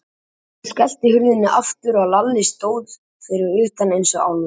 Amman skellti hurðinni aftur og Lalli stóð fyrir utan eins og álfur.